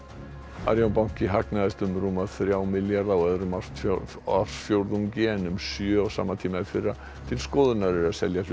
Arion banki hagnaðist um rúma þrjá milljarða á öðrum ársfjórðungi ársfjórðungi en um sjö á sama tíma í fyrra til skoðunar er selja hlut